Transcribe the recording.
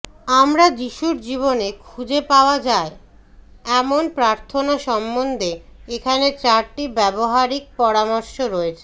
আমরা যিশুর জীবনে খুঁজে পাওয়া যায় এমন প্রার্থনা সম্বন্ধে এখানে চারটি ব্যবহারিক পরামর্শ রয়েছে